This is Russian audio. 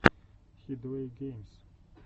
хидуэйгеймс